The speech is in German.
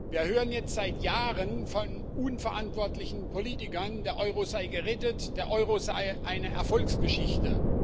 Wir hören jetzt seit Jahren von unverantwortlichen Politikern, der Euro sei gerettet, der Euro sei eine Erfolgsgeschichte.